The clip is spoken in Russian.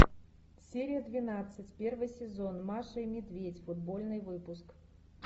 серия двенадцать первый сезон маша и медведь футбольный выпуск